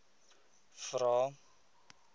vvvvrae